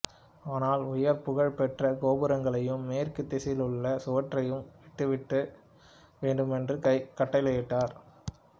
ஆனால் உயர் புகழ் பெற்ற கோபுரங்களையும் மேற்கு திசையிலுள்ள சுவற்றையும் விட்டுவிட வேண்டுமென்று கட்டளையிட்டார்